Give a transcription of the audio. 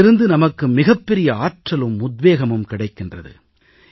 அதிலிருந்து நமக்கு மிகப்பெரிய ஆற்றலும் உத்வேகமும் கிடைக்கிறது